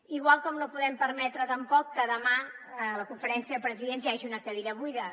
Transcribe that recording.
igual com no podem permetre tampoc que demà a la conferència de presidents hi hagi una cadira buida